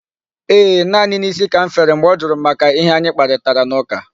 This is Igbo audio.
Ee, naanị isi ka m fere mgbe ọ jụrụ m maka ihe anyị kparịtara n'ụka.